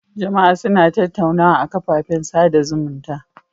Jama'a suna tattaunawa a kafafen sada zumunta.